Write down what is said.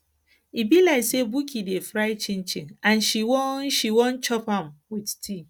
e be like sey buki dey fry chinchin and she wan she wan chop am with tea